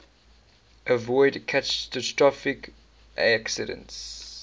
avoid catastrophic accidents